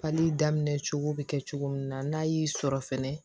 Pali daminɛ cogo bi kɛ cogo min na n'a y'i sɔrɔ fɛnɛ